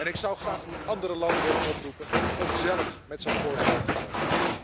Ik zou graag andere landen willen oproepen om zelf met zo'n voorstel te komen.